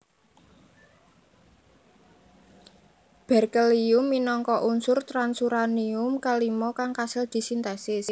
Berkelium minangka unsur transuranium kalima kang kasil disintesis